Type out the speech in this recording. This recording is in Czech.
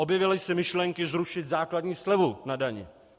Objevily se myšlenky zrušit základní slevu na dani.